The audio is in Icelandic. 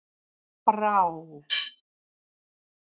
Brá